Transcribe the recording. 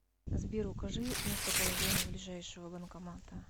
сбер укажи местоположение ближайшего банкомата